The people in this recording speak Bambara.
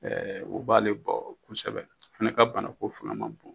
o b'ale bɔ kosɛbɛ a fana ka banako fanga man bon.